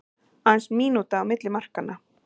Aðeins mínúta á milli markanna